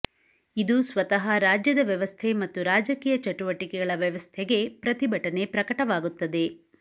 ಇದು ಸ್ವತಃ ರಾಜ್ಯದ ವ್ಯವಸ್ಥೆ ಮತ್ತು ರಾಜಕೀಯ ಚಟುವಟಿಕೆಗಳ ವ್ಯವಸ್ಥೆಗೆ ಪ್ರತಿಭಟನೆ ಪ್ರಕಟವಾಗುತ್ತದೆ